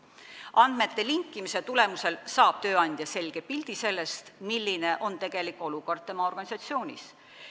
Andmete linkimise tulemusel saab tööandja selge pildi sellest, milline on tegelik olukord tema organisatsioonis.